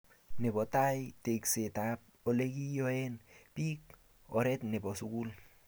nebo tai, teksetab oleginyoen biik, oret nebo sugul